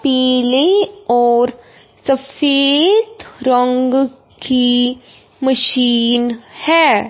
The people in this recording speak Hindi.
पीले और सफेद रंग की मशीन है।